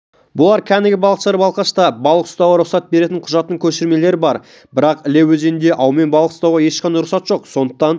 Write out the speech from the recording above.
бұлар кәнігі балықшылар балқашта балық ұстауға рұқсат беретін құжаттың көшірмелері бар бірақ іле өзенінде аумен балық ұстауға ешқандай рұқсат жоқ сондықтан